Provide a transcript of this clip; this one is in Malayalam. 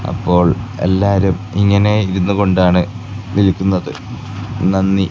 അപ്പോൾ എല്ലാരും ഇങ്ങനെ ഇരുന്നുകൊണ്ടാണ് വിൽക്കുന്നത് നന്ദി.